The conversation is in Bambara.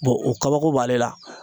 o kabako b'ale la.